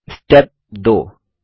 step 2